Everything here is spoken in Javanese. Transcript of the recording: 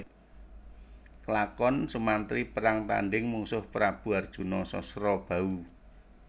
Klakon Sumantri perang tandhing mungsuh Prabu harjuna Sasrabahu